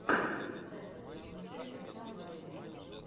поставь последнюю часть оксаны валерьевны